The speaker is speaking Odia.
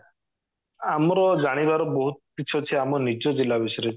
ଆମର ଜାଣିବାର ବହୁତ କିଛି ଅଛି ଆମ ନିଜ ଜିଲ୍ଲା ବିଷୟରେ